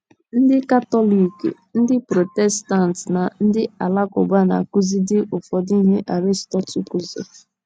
Ndị Katọlik, ndị Protestant na ndị Alakụba na - akụzidị ụfọdụ ihe Aristotle kụziri.